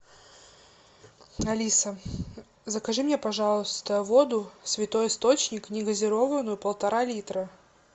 алиса закажи мне пожалуйста воду святой источник негазированную полтора литра